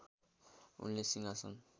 उनले सिंहासन